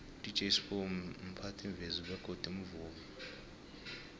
udj sbu mphathimvezi bego mvumi